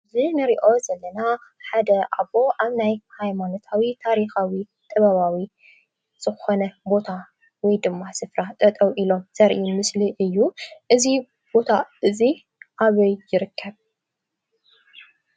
አዚ ኔሪኦ ዘለና ሓደ ኣቦ አብ ናይ መሃይማኖታዊ ታሪኻዊ ጥበባዊ ዝኾነ ቦታ ወይ ድማ ሥፍራ ጠጠው ኢሎም ዘርኢ ምስሊ እዩ እዙ ቦታ እዙይ ኣበይ ይርከብ